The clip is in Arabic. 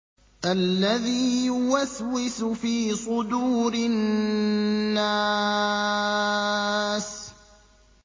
الَّذِي يُوَسْوِسُ فِي صُدُورِ النَّاسِ